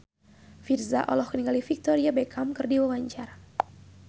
Virzha olohok ningali Victoria Beckham keur diwawancara